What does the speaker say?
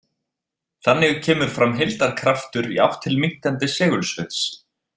Þannig kemur fram heildarkraftur í átt til minnkandi segulsviðs.